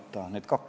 Aitäh!